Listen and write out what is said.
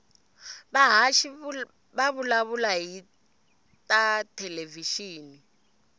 vahhashi vavulavula hhitatelevishini